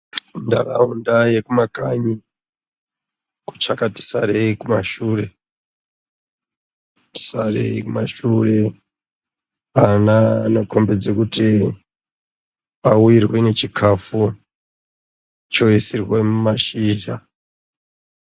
Muntaraunda yekumakanyi kuchakati sarei kumashure, sarei kumashure. Ana anokombedza kuti auyirwe nechikafu choisirwe mumashizha.